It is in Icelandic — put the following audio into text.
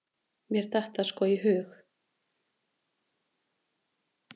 Mér datt það sko ekki í hug!